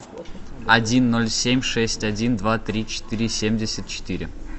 один ноль семь шесть один два три четыре семьдесят четыре